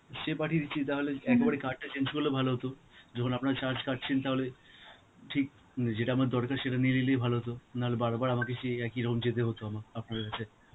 সে পাঠিয়ে দিচ্ছে. তাহলে একেবারে card টা change করলে ভালো হতো, যখন আপনা charge কাটছেন তাহলে, ঠিক উম যেটা আমার দরকার, সেটা নিয়ে নিলেই ভালো হতো, না হলে বারবার আমাকে সেই একই রকম যেতে হতো, আমা~ আপনাদের কাছে.